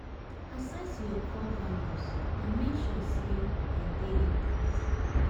Access your core values and make sure sey dem dey intact